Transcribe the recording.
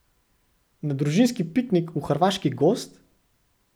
Na družinski piknik v hrvaški gozd?